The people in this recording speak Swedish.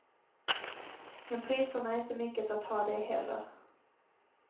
Men priserna är inte mycket att ha de heller.